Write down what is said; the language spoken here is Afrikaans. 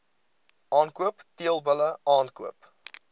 aankoop teelbulle aankoop